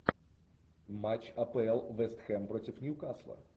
матч апл вест хэм против ньюкасла